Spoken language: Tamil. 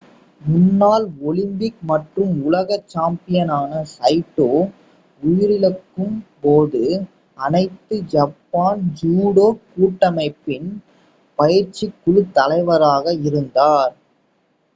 முன்னாள் ஒலிம்பிக் மற்றும் உலக சாம்பியனான சைட்டோ உயிரிழக்கும்போது அனைத்து ஜப்பான் ஜூடோ கூட்டமைப்பின் பயிற்சிக்குழு தலைவராக இருந்தார்